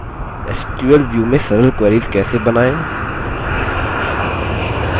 sql view में sql queries कैसे बनाएँ